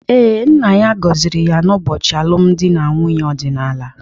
Ee, nna ya gọziri ya n’ụbọchị alụmdi na nwunye ọdịnala.